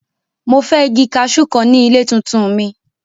Mo fẹ igi kaṣú kan ni ile tuntun mi!